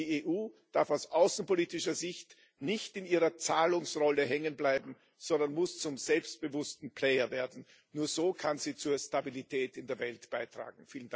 Die EU darf aus außenpolitischer Sicht nicht in ihrer Zahlerrolle hängen bleiben, sondern muss zum selbstbewussten Player werden. Nur so kann sie zur Stabilität in der Welt beitragen.